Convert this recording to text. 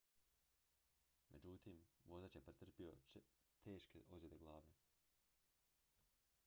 međutim vozač je pretrpio teške ozljede glave